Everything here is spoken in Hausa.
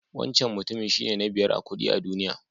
Wancan mutumin shine na biyar a kuɗi a duniya.